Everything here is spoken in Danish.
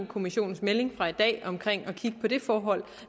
kommissionens melding fra i dag om at kigge på det forhold